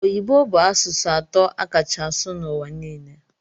Oyibo bu asụsụ atọ akacha asụ na ụwa nile.